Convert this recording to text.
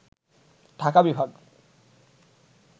ঢাকা বিভাগ